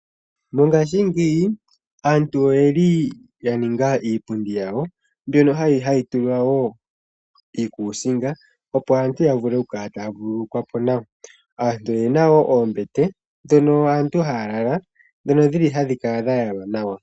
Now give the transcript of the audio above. Mongaashingeyi aantu oyeli ya ninga iipundi yawo ,mbyono hayi tulwa woo iikusinga opo aantu ya vule oku kala taa vululukwa po nawa. Aantu oyena wo oombete ndhono aantu haa lala ndhono dhi li hadhi kala dha yalwa nawa.